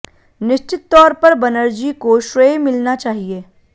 निश्चित तौर पर बनर्जी को श्रेय मिलना चाहिए